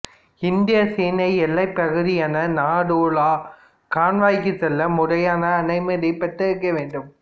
இந்திய சீன எல்லைப் பகுதியான நாதூ லா கணவாய்க்குச் செல்ல முறையான அனுமதி பெற்றிருக்க வேண்டும்